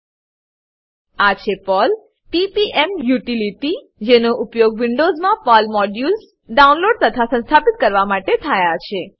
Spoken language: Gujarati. આ છે Perl Perl PPM utility PPM utility જેનો ઉપયોગ વિન્ડોવ્ઝમાં પર્લ મોડ્યુલ્સ પર્લ મોડ્યુલો ડાઉનલોડ તથા સંસ્થાપિત કરવા માટે થાય છે